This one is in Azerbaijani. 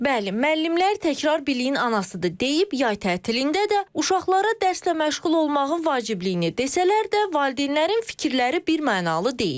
Bəli, müəllimlər təkrar biliyin anasıdır deyib yay tətilində də uşaqlara dərslə məşğul olmağın vacibliyini desələr də, valideynlərin fikirləri birmənalı deyil.